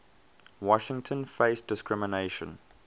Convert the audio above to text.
washington faced discrimination